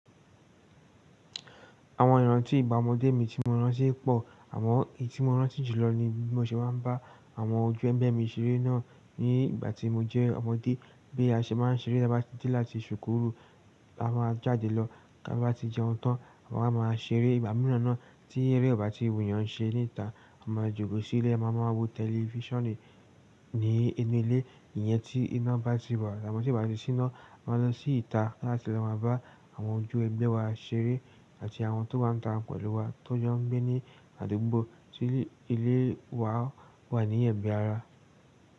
Àwọn ìrántí ìgbà ọmọdé mi tí mo rántí pọ̀. À mọn èyí tí mo rántí jùlọ ni bí mo ṣe máa ń bá àwọn ojú ẹ̀gbẹ́ mi ṣeré náà ní ìgbà tí mo jẹ́ ọmọdé. Bí a ṣe máa ń ṣeré lábáàjì láti sùkú rù, a máa jáde lọ ká bá ti jẹun tán, àwa máa máa ṣeré ìgbàmírána tí eré ọ̀ bá tí wu yàn n ṣe ní ìta. A máa jókòó sí ilé, a máa máa wo tẹlifíṣànì ní inú ilé, ìyẹn tí iná bá ti wà. Àmó tí o bá ti ṣíná, a máa lọ sí ìta láti lọ máa bá àwọn ojú ẹ̀gbẹ́ wa ṣeré àti àwọn tó wa ta pẹ̀lú wa tó jẹ́ ń gbé ní àdúgbò tí ilé wa wà ní ẹ̀gbẹ́ ara.